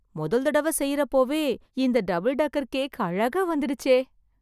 மொதல் தடவை செய்றப்போவே இந்த டபிள் டெக்கர் கேக் அழகா வந்துடுச்சே...